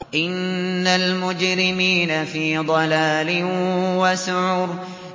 إِنَّ الْمُجْرِمِينَ فِي ضَلَالٍ وَسُعُرٍ